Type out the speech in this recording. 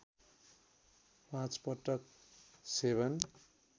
पाँच पटक सेवन